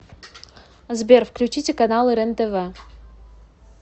сбер включите каналы рентв